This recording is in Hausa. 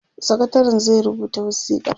sakatarin zai rubuta wasikar